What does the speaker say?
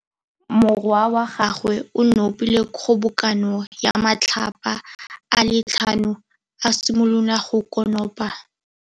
Morwa wa gagwe o nopile kgobokanô ya matlapa a le tlhano, a simolola go konopa.